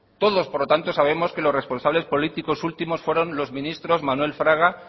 todos por lo tanto sabemos que los responsables políticos últimos fueron los ministros manuel fraga